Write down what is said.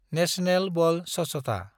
national Bal Swachhata